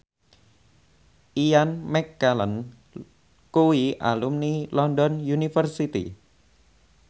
Ian McKellen kuwi alumni London University